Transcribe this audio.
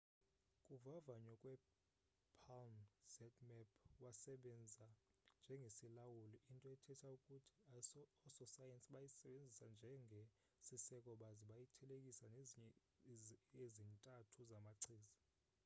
kuvavanyo kwe palm zmapp wasebenza njengesilawuli into ethetha ukuthi ososayensi bayisebenzisa njenge siseko baze bayithelekisa nezinye ezintathu zamachiza